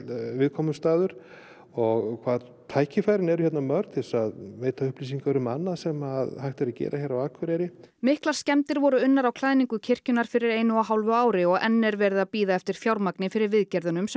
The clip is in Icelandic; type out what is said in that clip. viðkomustaður og hvað tækifærin eru hérna mörg til þess að veita upplýsingar um annað sem hægt er að gera hér á Akureyri miklar skemmdir voru unnar á klæðningu kirkjunnar fyrir einu og hálfu ári og enn er verið að bíða eftir fjármagni fyrir viðgerðirnar sem